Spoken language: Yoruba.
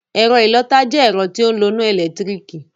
Ẹ̀ro ìlọta jẹ́ ẹ̀rọ ti o n loná ẹ̀lẹ́tírìkì.